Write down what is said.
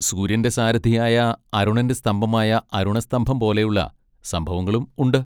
സൂര്യന്റെ സാരഥിയായ അരുണന്റെ സ്തംഭമായ അരുണസ്തംഭം പോലെയുള്ള സംഭവങ്ങളും ഉണ്ട്.